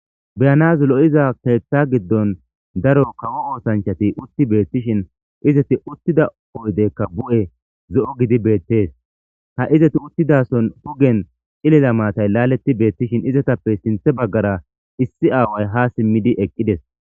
beyanas lo'iza keeththa giddon daro kawo oosanchchati utti betiishshin izeti uttida oydekka bu'e zo'o gidi bettees ha izeti uttidason hugen cilila maatay laaletti beetiishshin izatappe sinththe baggara issi aaway ha siimiidi eqqidees